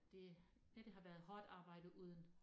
Det ja det har været hårdt arbejde uden